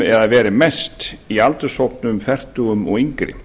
eða verið mest í aldurshópnum fertugum og yngri